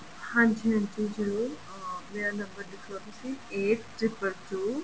ਹਾਂਜੀ ਹਾਂਜੀ ਜਰੂਰ ਅਹ ਮੇਰਾ ਨੰਬਰ ਲਿਖਲੋ ਤੁਸੀਂ eight triple two